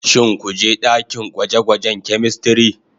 Shin ku je dakin gwaje-gwajen " chemistry"